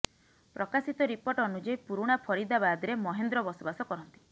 ପ୍ରକାଶିତ ରିପୋର୍ଟ ଅନୁଯାୟୀ ପୁରୁଣା ଫରିଦାବାଦରେ ମହେନ୍ଦ୍ର ବସବାସ କରନ୍ତି